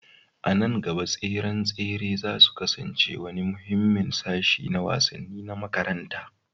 A nan gaba, tseren tsere za su kasance wani muhimmin sashi na wasanni na makaranta